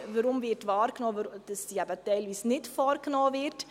Weshalb wird wahrgenommen, dass diese teilweise nicht vorgenommen wird?